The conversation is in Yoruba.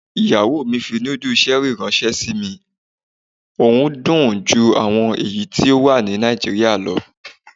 Ìyàwó mi fi núdù ṣẹ́rì ìránṣẹ́ sí mi, ohun dùn ju àwọn èyí tó wà ní Nàìjíríà lọ.